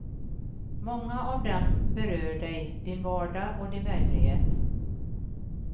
Många av dem berör dig, din vardag och din verklighet.